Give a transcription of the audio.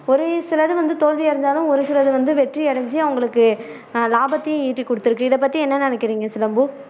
ஒரு சில இது வந்து தோல்வி அடைஞ்சாலும் ஒரு சில இது வந்து வெற்றி அடைஞ்சு அவங்களுக்கு ஆஹ் லாபத்தையும் ஈட்டி கொடுத்டுருக்கு இதை பத்தி என்ன நினைக்குறீங்க சிலம்பு